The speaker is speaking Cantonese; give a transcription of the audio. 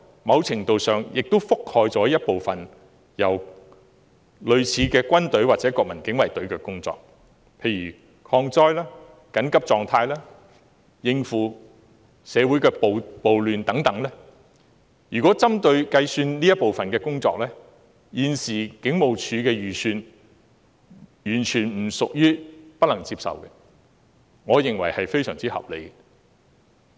某程度上，警隊負責了部分類似軍隊或國民警衞隊的工作，例如抗災、緊急狀態、應付社會暴亂等，如果計算這部分的工作，現時警務處的預算完全不屬於不能接受，我認為是非常合理的。